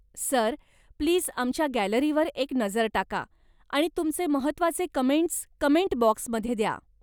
Sir, please आमच्या गॅलरीवर एक नजर टाका आणि तुमचे महत्त्वाचे कमेंटस् कमेंट बाॅक्समध्ये द्या.